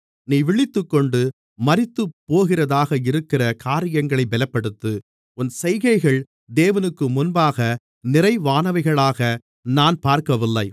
நீ விழித்துக்கொண்டு மரித்துப்போகிறதாக இருக்கிற காரியங்களைப் பெலப்படுத்து உன் செய்கைகள் தேவனுக்குமுன்பாக நிறைவானவைகளாக நான் பார்க்கவில்லை